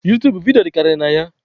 Utuub bụ vidiyo dịkarịrị na ya